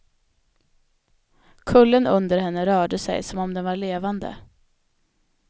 Kullen under henne rörde sig som om den var levande.